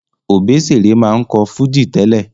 Òbésèré máa ń kọ́ fújì tẹ́lẹ̀